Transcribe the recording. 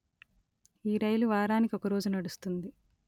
ఈ రైలు వారానికి ఒక రోజు నడుస్తుంది